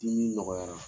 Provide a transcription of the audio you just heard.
Dimi nɔgɔyara